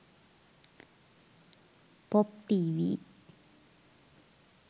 pop tv